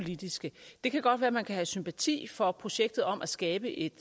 politiske det kan godt være at man kan have sympati for projektet om at skabe et